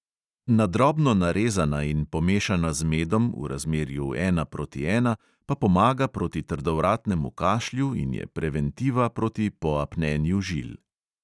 Na drobno narezana in pomešana z medom, v razmerju ena proti ena, pa pomaga proti trdovratnemu kašlju in je preventiva proti poapnjenju žil.